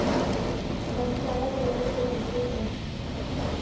സംസ്ഥാന general secretary M